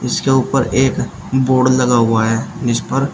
इसके ऊपर एक बोर्ड लगा हुआ है जिस पर--